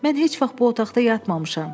Mən heç vaxt bu otaqda yatmamışam.